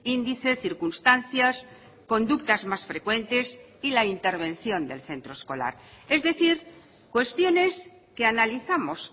índice circunstancias conductas más frecuentes y la intervención del centro escolar es decir cuestiones que analizamos